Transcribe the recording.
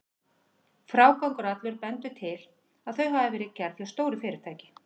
Frágangur allur bendir til, að þau hafi verið gerð hjá stóru fyrirtæki.